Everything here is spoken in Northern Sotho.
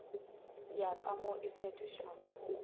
ya ka mo e fetotšwego